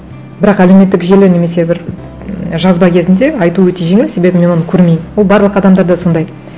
бірақ әлеуметтік желі немесе бір ммм жазба кезінде айтау өте жеңіл себебі мен оны көрмеймін ол барлық адамдар да сондай